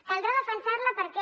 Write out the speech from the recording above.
caldrà defensar la perquè